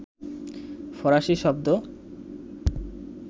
ফরাসি শব্দ